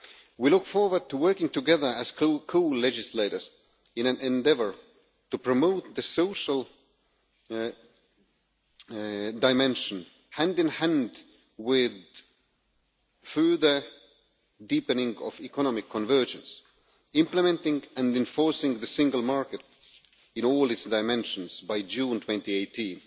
We look forward to working together as co legislators in an endeavour to promote the social dimension, hand in hand with further deepening of economic convergence, implementing and enforcing the single market in all its dimensions by June 2018,